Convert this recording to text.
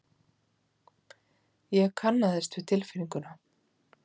Ég kannaðist við tilfinninguna.